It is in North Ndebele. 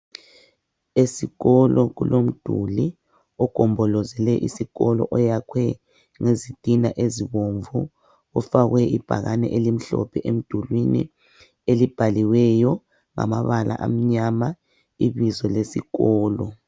Esikolo kulomduli ogombolozele isikolo oyakhwe ngezitina ezibomvu. Kufakwe ibhakani elimhlophe emdulwini elibhaliweyo ngamabala amnyama ibizo lesikolo.